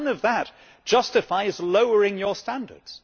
But none of that justifies lowering your standards.